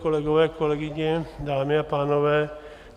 Kolegové, kolegyně, dámy a pánové.